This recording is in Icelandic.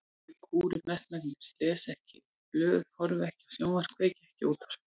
Ég kúri mestmegnis, les ekki blöð, horfi ekki á sjónvarp, kveiki ekki á útvarpi.